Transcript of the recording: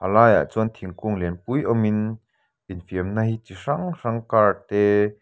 a laiah chuan thingkung lianpui awm in infiamna hi chi hrang hrang car te --